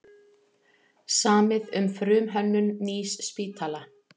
Samið um frumhönnun nýs spítala